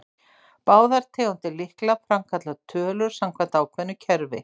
Báðar tegundir lykla framkalla tölur samkvæmt ákveðnu kerfi.